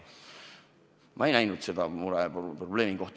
Ma ei näinud sellist probleemi.